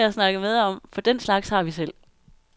Dem kan jeg snakke med om, for den slags har vi selv.